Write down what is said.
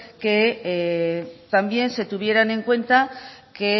que también se tuvieran en cuenta que